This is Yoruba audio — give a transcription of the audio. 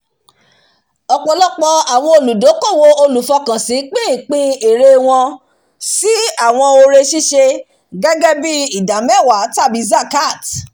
ọpọlọpọ àwọn olùdókòwò olùfọkànsin pín ìpín ère wọn sí àwọn oore ṣíṣe gẹ́gẹ́ bí idámẹ́wàá tàbí zakat